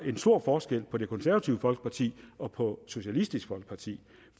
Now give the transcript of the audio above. stor forskel på det konservative folkeparti og på socialistisk folkeparti